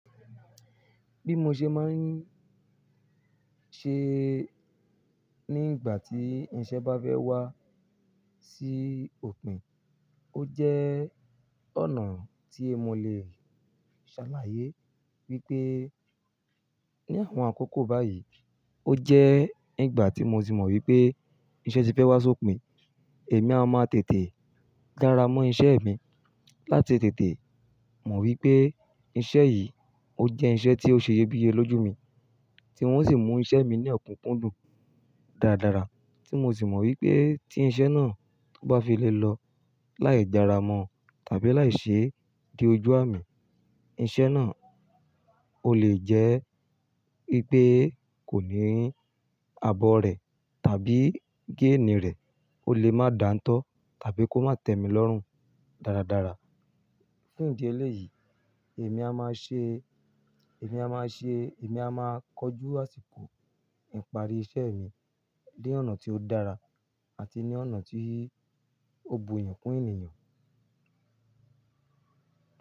Bí mo ṣe máa ń ṣe nígbà tí iṣẹ́ bá fẹ́ wá sí òpin, ó jẹ́ ọ̀nà tí mo lè ṣàlàyé wípé ní àwọn àkókò báyìí, ó jẹ́ nígbà tí mo tì mọ̀ wípé iṣẹ́ ti fẹ́ wá sí òpin, èmi a máa tètè dára mọ́ iṣẹ́ mi. Láti tètè mọ̀ wípé iṣẹ́ yìí ó jẹ́ iṣẹ́ tí ó ṣe iyebíye lójú mi, tí ń o sì mú iṣẹ́ mi ní òkúkúndùn dáradára, tí mo sì mọ̀ wípé tí iṣẹ́ náà kò bá fi lè lọ láì jára mọ́ tàbí láì ṣe de ojú àmì, iṣẹ́ náà ó lè jẹ́ wípé kò ní abọ́ rẹ̀ tàbí géènì rẹ̀ ó lè máa dàńtọ́ tàbí kó má tẹ́mi lọ́rùn dáradára. Fun ìdí eléyìí, èmi a máa ṣe, èmi a máa ṣe, èmi a máa kojú àsìkò ìparí iṣẹ́ mi ní ọ̀nà tí ó dára àti ní ọ̀nà tí ó bu iyin kún ènìyàn.